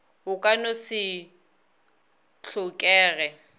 o ka no se tlhokege